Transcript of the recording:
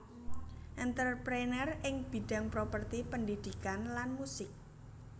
Entrepreneur ing bidang properti pendhidhikan lan musik